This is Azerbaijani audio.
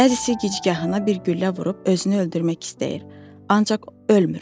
Bəzisi gicgahına bir güllə vurub özünü öldürmək istəyir, ancaq ölmür.